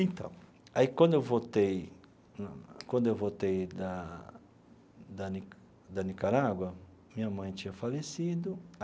Então, aí quando eu voltei quando eu voltei da da nica da Nicarágua, minha mãe tinha falecido.